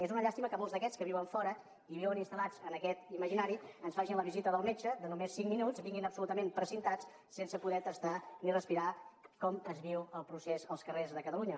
és una llàstima que molts d’aquests que viuen fora i viuen instal·lats en aquest imaginari ens facin la visita del metge de només cinc minuts vinguin absolutament precintats sense poder tastar ni respirar com es viu el procés als carrers de catalunya